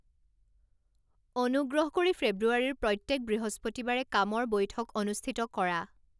অনুগ্ৰহ কৰি ফেব্ৰুৱাৰীৰ প্ৰত্যেক বৃহস্পতিবাৰে কামৰ বৈঠক অনুস্থিত কৰা